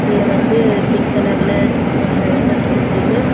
புள்ள வந்து பிங்க் கலர்ல ஷர்ட் போட்ருக்கு.